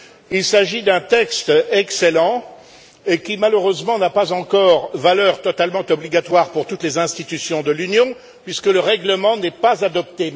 Il s'agit d'un texte excellent qui, malheureusement, n'a pas encore valeur totalement obligatoire pour toutes les institutions de l'Union puisque le règlement n'est pas adopté.